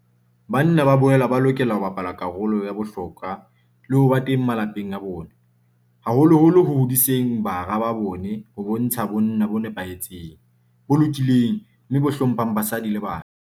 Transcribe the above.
Banna ba boela ba lokela ho bapala karolo ya bohlokwa le ho ba teng malapeng a bona, haholoholo ho hodiseng bara ba bona ho bontsha bonna bo nepahetseng, bo lokileng mme bo hlo mphang basadi le bana.